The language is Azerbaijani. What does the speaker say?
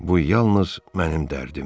Bu yalnız mənim dərdimdir.